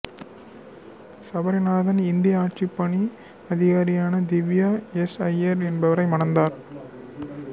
சபரிநாதன் இந்திய ஆட்சிப் பணி அதிகாரியான திவ்யா எஸ் ஐயர் என்பவரை மணந்தார்